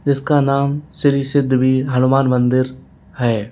जिसका नाम श्री सिद्ध वीर हनुमान मंदिर है।